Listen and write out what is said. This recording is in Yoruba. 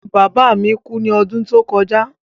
Bàbá mi kú ní odún tó kojá